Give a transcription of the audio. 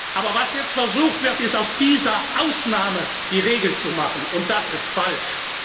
Aber was jetzt versucht wird, aus dieser Ausnahme die Regel zu machen, und das ist falsch.